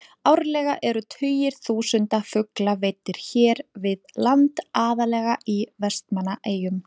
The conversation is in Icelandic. Árlega eru tugir þúsunda fugla veiddir hér við land, aðallega í Vestmannaeyjum.